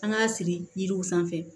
An k'a siri yiriw sanfɛ